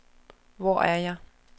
Hvor er jeg